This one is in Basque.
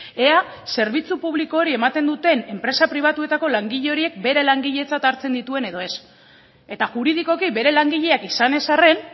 ea zerbitzu publiko hori ematen duten enpresa pribatuetako langile horiek bere langiletzat hartzen dituen edo ez eta juridikoki bere langileak izan ez arren